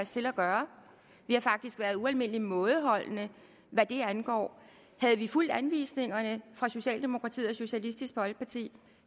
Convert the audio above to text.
til at gøre vi har faktisk været ualmindelig mådeholdende hvad det angår havde vi fulgt anvisningerne fra socialdemokratiet og socialistisk folkeparti